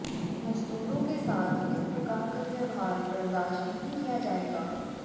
मजदूरों के साथ इस प्रकार का व्यवहार बर्दाश्त नहीं किया जाएगा